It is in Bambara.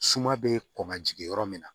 Suma bɛ kɔn ka jigin yɔrɔ min na